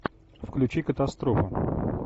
включи катастрофу